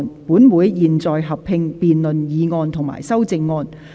本會現在合併辯論議案及修正案。